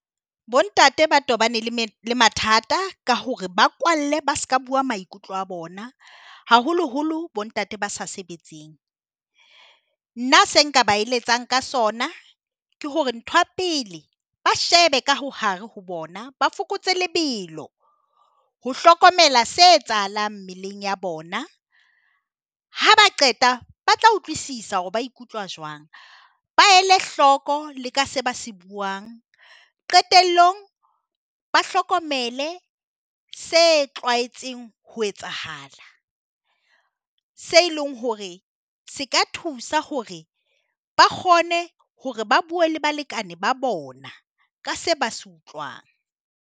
Bontate ba tobane le mathata ka hore ba kwalle ba seka bua maikutlo a bona. Haholoholo bontate ba sa sebetseng. Nna seo nka ba eletsang ka sona ke hore ntho ya pele ba shebe ka hare ho bona. Ba fokotse lebelo, ho hlokomela se etsahalang mmeleng ya bona. Ha ba qeta ba tla utlwisisa hore ba ikutlwa jwang. Ba ele hloko le ka seo ba se buang. Qetellong, ba hlokomele se tlwaetseng ho etsahala. Seo leng hore se ka thusa hore ba kgone hore ba buwe le balekane ba bona ka se ba se utlwang.